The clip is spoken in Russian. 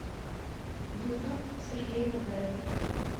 ютуб сергей мазаев